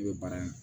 I bɛ baara in